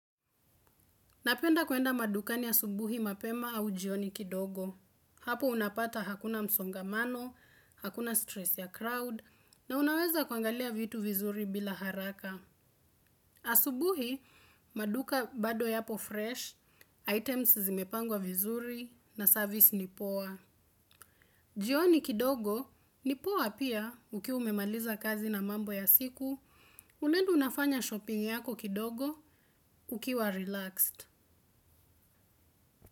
Napenda kwenda madukani asubuhi mapema au jioni kidogo. Hapo unapata hakuna msongamano, hakuna stress ya crowd, na unaweza kuangaliya vitu vizuri bila haraka. Asubuhi, maduka bado yapo fresh, items zimepangwa vizuri, na service ni poa. Jioni kidogo, nipoa pia, ukiwa umemaliza kazi na mambo ya siku, unaenda unafanya shopping yako kidogo, ukiwa relaxed.